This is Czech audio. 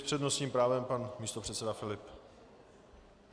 S přednostním právem pan místopředseda Filip.